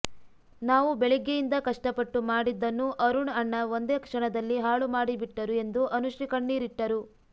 ನಾವು ಬೆಳಗ್ಗೆಯಿಂದ ಕಷ್ಟಪಟ್ಟು ಮಾಡಿದ್ದನ್ನು ಅರುಣ್ ಅಣ್ಣ ಒಂದೇ ಕ್ಷಣದಲ್ಲಿ ಹಾಳು ಮಾಡಿಬಿಟ್ಟರು ಎಂದು ಅನುಶ್ರೀ ಕಣ್ಣೀರಿಟ್ಟರು